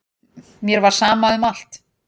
Mér var sama um allt.